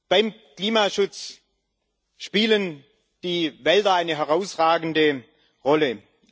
Beim Klimaschutz spielen die Wälder eine herausragende Rolle.